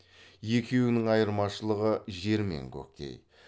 екеуінің айырмашылығы жер мен көктей